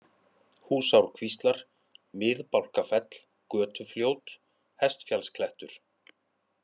Húsárkvíslar, Mið-Bálkafell, Götufljót, Hestfjallsklettur